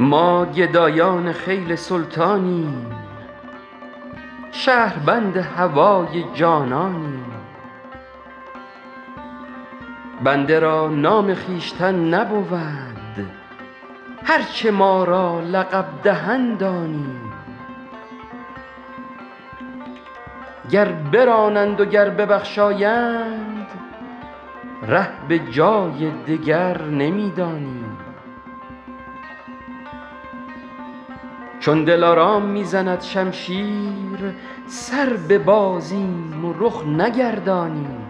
ما گدایان خیل سلطانیم شهربند هوای جانانیم بنده را نام خویشتن نبود هر چه ما را لقب دهند آنیم گر برانند و گر ببخشایند ره به جای دگر نمی دانیم چون دلارام می زند شمشیر سر ببازیم و رخ نگردانیم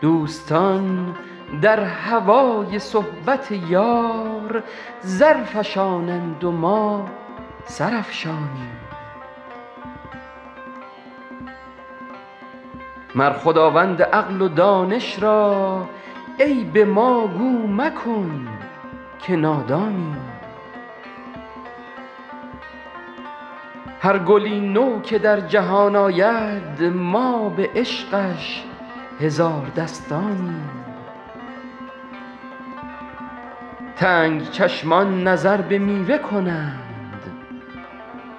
دوستان در هوای صحبت یار زر فشانند و ما سر افشانیم مر خداوند عقل و دانش را عیب ما گو مکن که نادانیم هر گلی نو که در جهان آید ما به عشقش هزار دستانیم تنگ چشمان نظر به میوه کنند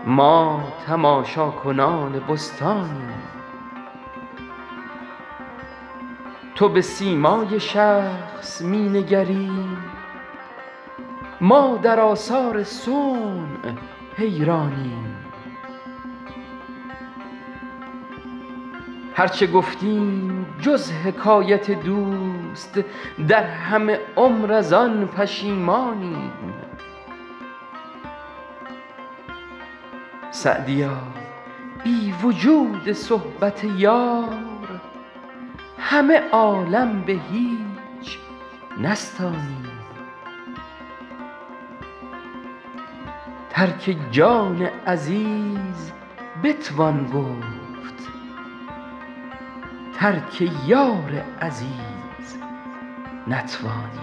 ما تماشاکنان بستانیم تو به سیمای شخص می نگری ما در آثار صنع حیرانیم هر چه گفتیم جز حکایت دوست در همه عمر از آن پشیمانیم سعدیا بی وجود صحبت یار همه عالم به هیچ نستانیم ترک جان عزیز بتوان گفت ترک یار عزیز نتوانیم